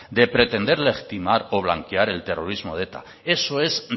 de pretender legitimar o blanquear el terrorismo de eta eso es